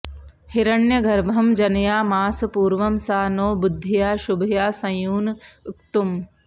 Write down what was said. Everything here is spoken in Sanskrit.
हिरण्यगर्भं जनयामास पूर्वं सा नो बुद्ध्या शुभया संयुनक्तुम्